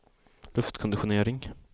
luftkonditionering